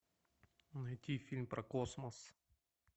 найти фильм про космос